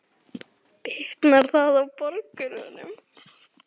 Bitnar það á borgurunum?